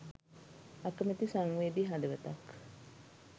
අකමැති සංවේදී හදවතක්